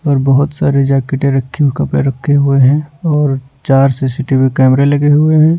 और बहुत सारे जैकेटें रखी कपड़े रखे हुए हैं और चार सी_ सी_ टी_ वी_ कैमरे लगे हुए हैं।